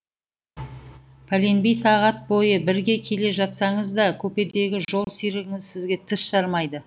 пәленбай сағат бойы бірге келе жатсаңыз да купедегі жол серігіңіз сізге тіс жармайды